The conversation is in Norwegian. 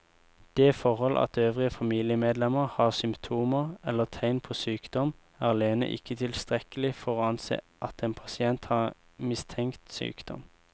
Det forhold at øvrige familiemedlemmer har symptomer eller tegn på sykdom er alene ikke tilstrekkelig for å anse at en pasient har mistenkt sykdom.